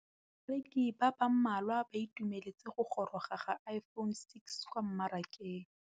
Bareki ba ba malwa ba ituemeletse go gôrôga ga Iphone6 kwa mmarakeng.